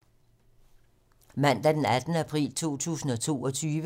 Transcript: Mandag d. 18. april 2022